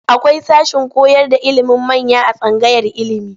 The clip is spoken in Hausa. Akwai sashen koyarda ilimin manya a tsangayar ilimi.